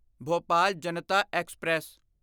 Bhopal Janata express